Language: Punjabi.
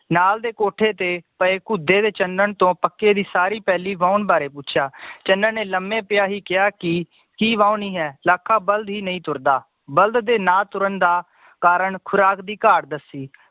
ਨਾਲ ਦੇ ਕੋਠੇ ਤੇ ਪਏ ਕੁਧੇ ਦੇ ਚੰਨਨ ਤੋਂ ਪੱਕੇ ਦੀ ਸਾਰੀ ਪੈਲੀ ਵਹਾਉਣ ਬਾਰੇ ਪੁੱਛਿਆ ਚੰਨਨ ਨੇ ਲੰਮੇ ਪਿਆਂ ਹੀ ਕਿਹਾ ਕਿ ਕੀ ਵਹਾਉਣੀ ਹੈ ਲਾਕਾ ਬਲਦ ਈ ਨਈ ਤੁਰਦਾ ਬਲਦ ਦੇ ਨਾ ਤੁਰਨ ਦਾ ਕਾਰਨ ਖੁਰਾਕ ਦੀ ਘਾਟ ਦੱਸੀ